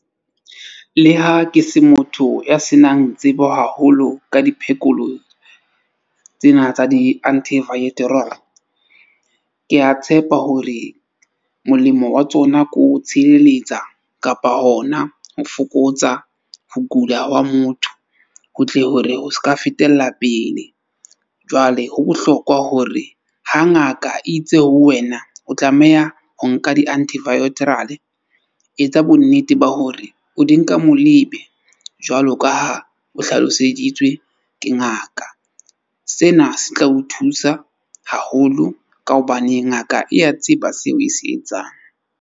Le ha ke se motho ya senang tsebo haholo ka di tsena tsa di . Ke a tshepa hore molemo wa tsona ko tshireletsa kapa hona ho fokotsa ho kula hwa motho ho tle hore ho ska fetella pele. Jwale ho bohlokwa hore ha ngaka e itse ho wena o tlameha ho nka di . Etsa bonnete ba hore o di nka mo lebe jwalo ka ha o hlaloseditswe ke ngaka. Sena se tla o thusa haholo ka hobane ngaka e ya tseba seo e se etsang.